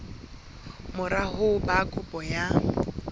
mora ho ba kopo ya